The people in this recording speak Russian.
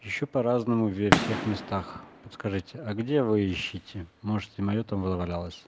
ещё по-разному во всех местах подскажите а где вы ищете можете и моё там завалялось